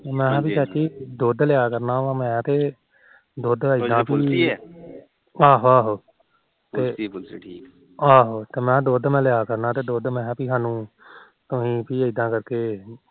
ਮੈ ਕਿਹਾ ਚਾਚੀ ਦੁਧ ਲਿਆ ਕਰਨਾ ਦੁਧ ਐਦਾ ਪੀ ਆਹੋ ਆਹੋ ਵਧੀਆਂ ਆਹੋ ਪੀ ਦੁਧ ਲਿਆ ਕਰਨਾ ਤੁਸੀ ਦੁਧ ਪੀ ਇਦਾ ਕਰਕੇ